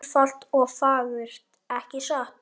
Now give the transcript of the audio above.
Einfalt og fagurt, ekki satt?